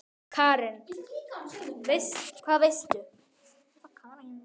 Karen: Hvað veistu?